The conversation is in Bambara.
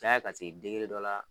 Caya ka se dɔ la